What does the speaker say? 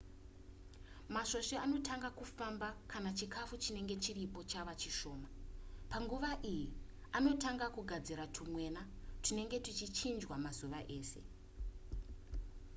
masvosve anotanga kufamba kana chikafu chinenge chiripo chava chishoma panguva iyi anotanga kugadzira tumwena tunenge tuchichinjwa mazuva ese